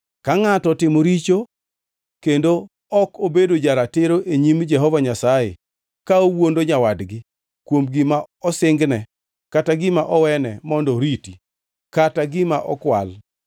“Ka ngʼato otimo richo kendo ok obedo ja-ratiro e nyim Jehova Nyasaye ka owuondo nyawadgi kuom gima osingne kata gima owene mondo oriti kata gima okwal,